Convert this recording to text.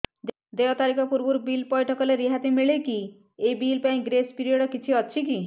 ଦେୟ ତାରିଖ ପୂର୍ବରୁ ବିଲ୍ ପୈଠ କଲେ ରିହାତି ମିଲେକି ଏହି ବିଲ୍ ପାଇଁ ଗ୍ରେସ୍ ପିରିୟଡ଼ କିଛି ଅଛିକି